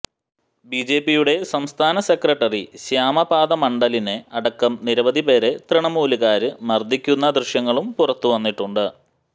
ബിജെപിയുടെ സംസ്ഥാന സെക്രട്ടറി ശ്യാമപാദ മണ്ഡലിനെ അടക്കം നിരവധി പേരെ തൃണമൂലുകാര് മര്ദ്ദിക്കുന്ന ദൃശ്യങ്ങളും പുറത്തുവന്നിട്ടുണ്ട്